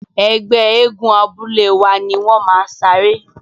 Ẹgbẹ́ eégún abúlé wa ni wọ́n máa saré.